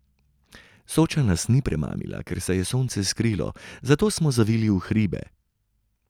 Soča nas ni premamila, ker se je sonce skrilo, zato smo zavili v hribe.